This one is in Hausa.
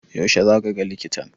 Yaushe zaka ga likitan?